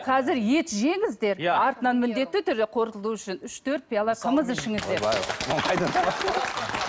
қазір ет жеңіздер артынан міндетті түрде қорытылу үшін үш төрт пиала қымыз ішіңіздер